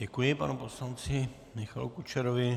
Děkuji panu poslanci Michalu Kučerovi.